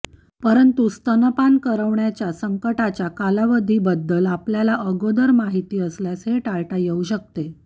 परंतु स्तनपान करवण्याच्या संकटाच्या कालावधीबद्दल आपल्याला अगोदर माहित असल्यास हे टाळता येऊ शकते